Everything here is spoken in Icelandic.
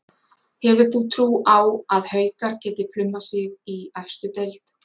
Hefur þú trú á að Haukar geti plummað sig í efstu deild?